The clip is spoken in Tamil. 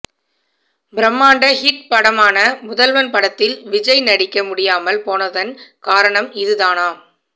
பிரமாண்ட ஹிட் படமான முதல்வன் படத்தில் விஜய் நடிக்க முடியாமல் போனதன் காரணம் இது தானாம்